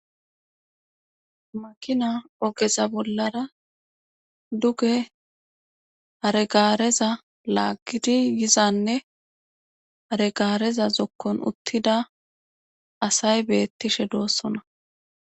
Makina ogeza bollara duge hare gaareza laagidi yizanne hare gaareza zokkon uttida asay beettishe doossona